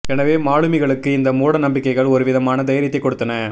எனவே மாலுமிகளுக்கு இந்த மூட நம்பிக்கைகள் ஒருவிதமான தைரியத்தை கொடுத்தன